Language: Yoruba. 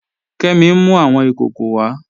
Kẹmì n mú awọn ikòkò wà.